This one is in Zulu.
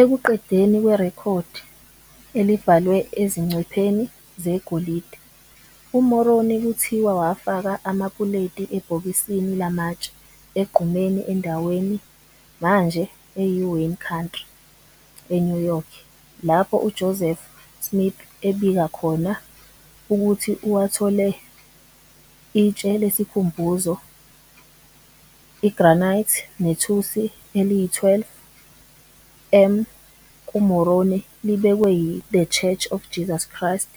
Ekuqedeni kwerekhodi, elibhalwe ezingcwepheni zegolide, uMoroni kuthiwa wafaka amapuleti ebhokisini lamatshe egqumeni endaweni manje eyiWayne County, eNew York, lapho uJoseph Smith abika khona ukuthi uwathole, itshe lesikhumbuzo i-granite nethusi eliyi-12-m kuMoroni libekwe yi- The Church of Jesus Christ